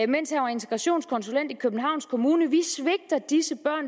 mens han var integrationskonsulent i københavns kommune vi svigter disse